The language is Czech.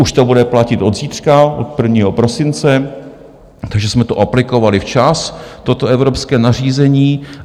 Už to bude platit od zítřka, od 1. prosince, takže jsme to aplikovali včas, toto evropské nařízení.